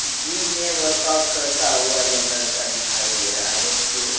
gym में work out करता हुआ यह लड़का दिखाई दे रहा है जो --